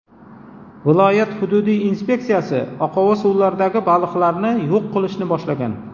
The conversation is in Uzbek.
Viloyat hududiy inspeksiyasi oqova suvlardagi baliqlarni yo‘q qilishni boshlagan.